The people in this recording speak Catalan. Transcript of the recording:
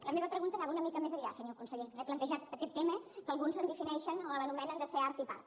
la meva pregunta anava una mica més enllà senyor conseller he plantejat aquest tema que alguns defineixen o l’anomenen ser art i part